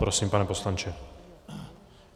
Prosím, pane poslanče.